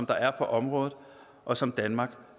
der er på området og som danmark